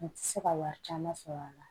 N ti se ka wari caman sɔrɔ a la